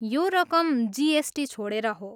यो रकम जिएसटी छोडेर हो।